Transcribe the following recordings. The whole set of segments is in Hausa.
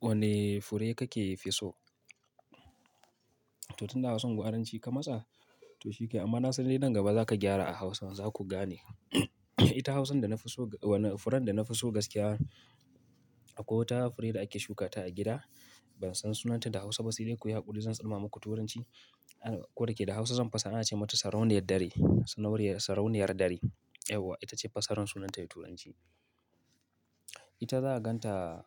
Wane fure kake so? To tunda Hausan gwaranci ka masa, to shikenan. Amma na san dai nan gaba za ka gyara a Hausan, za ku gane. Ita Hausan da na fi so, wane furen da na fi so gaskiya akwai wata fure da ake shuka ta a gida. Ban san sunanta da Hausa ba sai dai kuyi haƙuri zan tsarma muku Turanci. Ko da yake da hausa zan fassara, ana ce mata Sarauniyar Dare. Sarauniyar, Sarauniyar Dare. Yawwa, ita ce fassarar sunanta da Turanci. Ita za ka ganta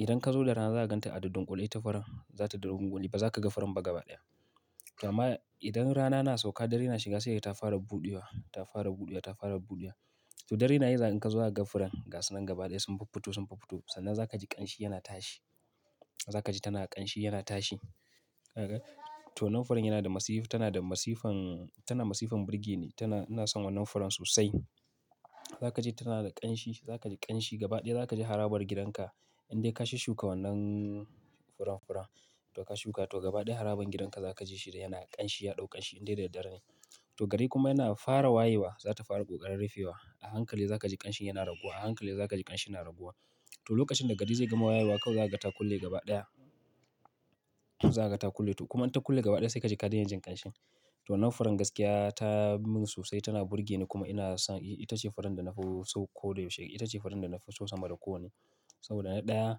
idan ka zo da rana, za ka ganta a dundunƙule. Ta furen, za ta duddunƙule, ba za ka ga furen ba gaba ɗaya. Kama idan rana na sauka, dare na shiga sai dai ta fara buɗewa, ta fara buɗewa, ta fara buɗewa. To dare na yi za ka ga in ka zo za ga furen gasunan gaba ɗaya sun fuffuto, sun fuffuto sannan za ka ji ƙamshi yana tashi. Za ka ji tana ƙanshi yana tashi. Ka ga? To wannan furen yana da masifan, tana da masifan, tana masifan burge ni. Tana, ina son wannan furen sosai. Za ka ji ta tana da ƙamshi, za ka ji ƙamshi gaba ɗaya, za ka ji harabar gidanka in dai ka shushshuka wannan furen-furen. To ka shuka, to gaba ɗaya harabar gidanka za ka ji shi yana ƙamshi, ya ɗau ƙamshi in dai daddare ne. To gari kuma yana fara wayewa, za ta fara ƙoƙarin rufewa. A hankali za ka ji ƙamshin yana raguwa, a hankali za ka ji ƙamshin yana raguwa. To lokacin da gari zai gama wayewa kawai za ka gan ta kulle gaba ɗaya. Za ka gan ta kulle. To kuma in ta kulle gaba ɗaya sai ka ji ka dai na jin ƙamshin. To wannan furen gaskiya ta min sosai, tana burge ni kuma ina son ita ce furen da na fi so koda yaushe. Ita ce furen da na fi so sama da kowanne. Saboda na ɗaya,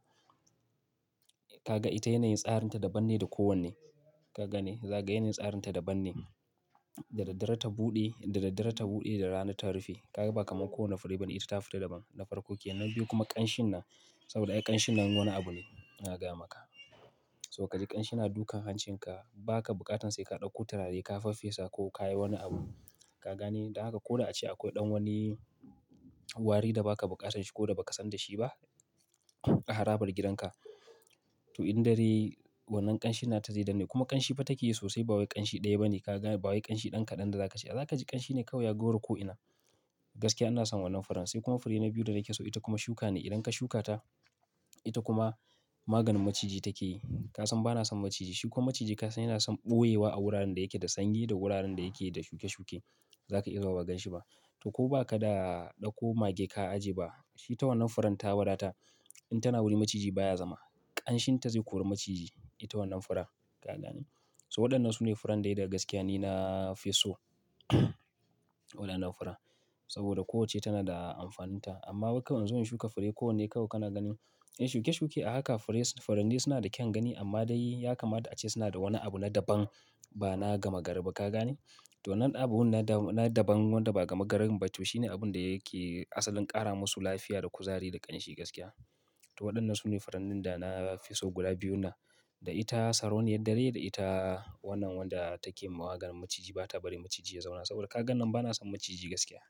ka ga ita yanayin tsarinta daban ne da kowanne. Ka gane? Za ka ga yanayin tsarinta daban ne. Da daddare ta buɗe, da daddare ta buɗe, da rana ta rufe. Ka ga ba kamar kowane fure ba ne. Ita ta fi daban na farko kenan. Biyu kuma ƙamshin nan. Saboda ƙamshin nan wani abu ne, ina gaya maka. To ka ji ƙamshi na dukan hancin ka. Ba ka buƙatan sai ka ɗauko turare ka faffesa ko ka yi wani abu. Ka gane? Da haka ko na a ce akwai ɗan wani wari da ba ka buƙatan shi ko da ba ka san da shi ba a harabar gidanka. To in dare wannan ƙamshin na ta zai danna kuma ƙamshi fa take yi sosai ba wai ƙamshi ɗaya ba ne. Ka gane? Ba wai ƙamshi ɗan kaɗan da za ka ce. A za ka ji ƙamshi ne kawai ya gwauraye ko'ina. Gaskiya ina son wannan furen. Sai kuma fure na biyu da nake so ita kuma shuka ne. Idan ka shuka ta, ita kuma maganin maciji take yi. Ka san bana son maciji. Shi kuma maciji ka san yana son ɓoyewa a wuraren da yake da sanyi da wuraren da yake da shuke-shuke. Za ka iya zuwa ba gan shi ba. To ko ba ka da ɗauko mage ka ajiye ba, ita wannan furen ta wadatar. In tana wuri maciji baya zama. Ƙamshin ta zai kori maciji. Ita wannan furen. Ka gane? To waɗannan su ne furen dai da gaskiya ni na fi so. Waɗannan furen. Saboda kowacce tana da amfaninta. Amma wai kawai in zo in shuka fure kowanne kawai kana ganin in shuke-shuke a haka fure, furannin suna da kyan gani amma dai ya kama da a ce suna da wani abu na daban ba na gama gari ba. Ka gane? To wannan abun na daban wanda ba gama garin ba to shi ne abun da yake asalin ƙara musu lafiya da kuzari da ƙamshi gaskiya. To waɗannan su ne furannin da na fi so guda biyu na. Da ita sarauniyar dare da ita wannan wadda take yi maganin maciji ba ta bari maciji ya zauna. Saboda ka gan nan bana son maciji gaskiya.